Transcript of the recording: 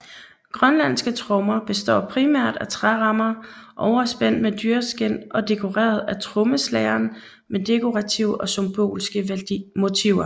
Grønlandske trommer består primært af trærammer overspændt med dyreskind og dekoreret af trommeslageren med dekorative og symbolske motiver